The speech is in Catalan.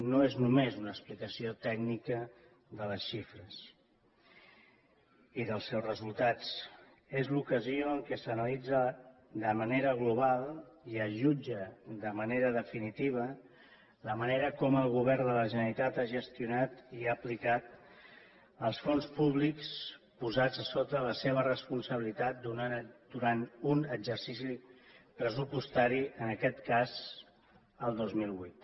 no és només una explicació tècnica de les xifres i dels seus resultats és l’ocasió en què s’analitza de manera global i es jutja de manera definitiva la manera com el govern de la generalitat ha gestionat i ha aplicat els fons públics posats sota la seva responsabilitat durant un exercici pressupostari en aquest cas el dos mil vuit